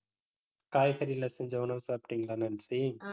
காய்கறில செஞ்ச உணவு சாப்பிட்டிங்களா, நான்சி